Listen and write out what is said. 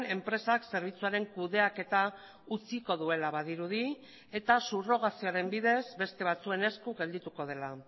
enpresak zerbitzuaren kudeaketa utziko duela badirudi eta subrogazioaren bidez beste batzuen esku geldituko dela